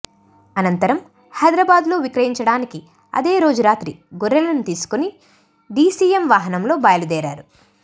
అనంతరం హైదరాబాద్లో విక్రయించటానికి అదే రోజు రాత్రి గొర్రెలను తీసుకుని డిసిఎం వాహనంలో బయలుదేరారు